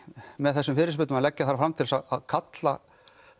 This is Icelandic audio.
með þessum fyrirspurnum að leggja þær fram til þess að kalla